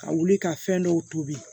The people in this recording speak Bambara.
Ka wuli ka fɛn dɔw tobi